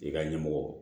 I ka ɲɛmɔgɔ